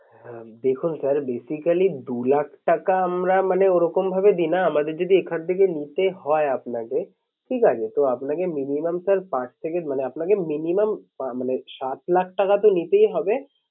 হ্যাঁ দেখুন sir basically দু লাখ টাকা আমরা মানে ওরকম ভাবে দিই না। আমাদের যদি এখান থেকে নিতে হয় আপনাকে ঠিক আছে তো আপনাকে minimum sir পাঁচ থেকে মানে আপনাকে minimum মানে সাত লাখ টাকা তো নিতেই হবে।